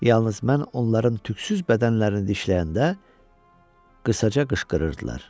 Yalnız mən onların tüksüz bədənlərini dişləyəndə qısaca qışqırırdılar.